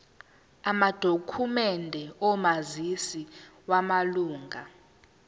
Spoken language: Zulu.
amadokhumende omazisi wamalunga